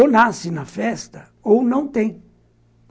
Ou nasce na festa ou não tem.